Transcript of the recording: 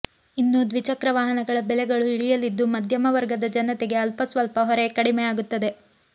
ಇನ್ನು ದ್ವಿಚಕ್ರ ವಾಹನಗಳ ಬೆಲೆಗಳೂ ಇಳಿಯಲಿದ್ದು ಮಧ್ಯಮ ವರ್ಗದ ಜನತೆಗೆ ಅಲ್ಪಸ್ವಲ್ಪ ಹೊರೆ ಕಡಿಮೆ ಆಗುತ್ತದೆ